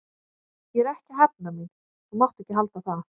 Ég er ekki að hefna mín, þú mátt ekki halda það.